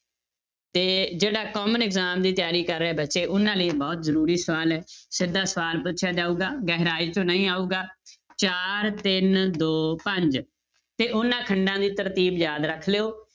ਤੇ ਜਿਹੜਾ common exam ਦੀ ਤਿਆਰੀ ਕਰ ਰਹੇ ਬੱਚੇ ਉਹਨਾਂ ਲਈ ਬਹੁਤ ਜ਼ਰੂਰੀ ਸਵਾਲ ਹੈ, ਸਿੱਧਾ ਸਵਾਲ ਪੁੱਛਿਆ ਜਾਊਗਾ ਗਹਿਰਾਈ ਚੋਂ ਨਹੀਂ ਆਊਗਾ ਚਾਰ ਤਿੰਨ ਦੋ ਪੰਜ ਤੇ ਉਹਨਾਂ ਖੰਡਾਂ ਦੀ ਤਰਤੀਬ ਯਾਦ ਰੱਖ ਲਇਓ